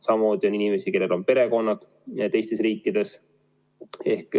Samamoodi on inimesi, kellel on perekonnad teistes riikides.